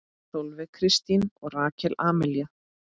Sólveig Kristín og Rakel Amelía.